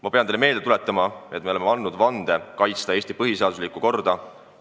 Ma pean teile meelde tuletama, et me oleme andnud vande kaitsta Eesti põhiseaduslikku korda.